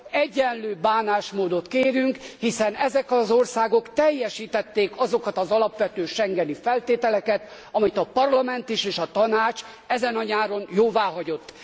Egyenlő bánásmódot kérünk, hiszen ezek az országok teljesítették azokat az alapvető schengeni feltételeket, amit a Parlament is és a Tanács ezen a nyáron jóváhagyott.